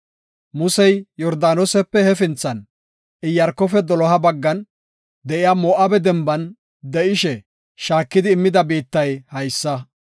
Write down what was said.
Musey Yordaanosepe hefinthan, Iyaarkofe doloha baggan de7iya Moo7abe denban de7ishe shaakidi immida biittay haysa.